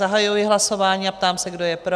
Zahajuji hlasování a ptám se, kdo je pro?